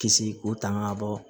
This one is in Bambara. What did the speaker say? Kisi k'o tanga bɔ